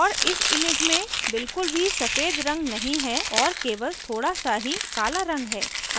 और इस image में बिलकुल भी सफ़ेद रंग नहीं है और केवल थोड़ा सा ही काला रंग है